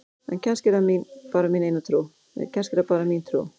En kannski er það bara mín trú!?